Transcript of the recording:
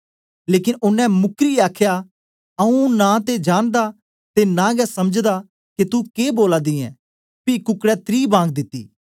लेकन ओनें मुक्रदे आखया आऊँ नां ते जानदा ते नां गै समझदा के तू के बोला दी ऐं पी कुकडै त्री बांग दिती